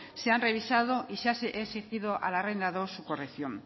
se han revisado y se ha exigido al arrendador su corrección